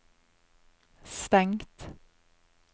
stengt